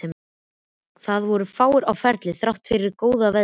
Það voru fáir á ferli þrátt fyrir góða veðrið.